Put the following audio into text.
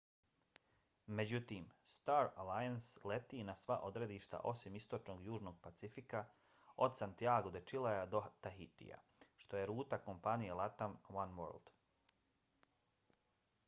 međutim star alliance leti na sva odredišta osim istočnog južnog pacifika od santiago de chilea do tahitija što je ruta kompanije latam oneworld